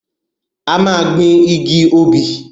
A máa gbin igi obì.